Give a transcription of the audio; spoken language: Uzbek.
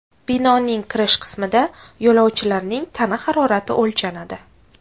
Binoning kirish qismida yo‘lovchilarning tana harorati o‘lchanadi.